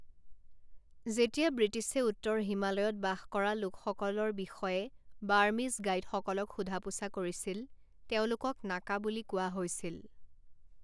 যেতিয়া ব্ৰিটিছে উত্তৰ হিমালয়ত বাস কৰা লোকসকলৰ বিষয়ে বাৰ্মিজ গাইডসকলক সোধা পোছা কৰিছিল তেওঁলোকক নাকা বুলি কোৱা হৈছিল।